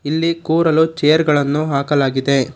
ಇಲ್ಲಿ ಕೂರಲು ಚೇರ್ ಗಳನ್ನು ಹಾಕಲಾಗಿದೆ.